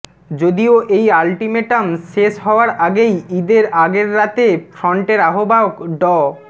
যদিও এই আল্টিমেটাম শেষ হওয়ার আগেই ঈদের আগের রাতে ফ্রন্টের আহ্বায়ক ড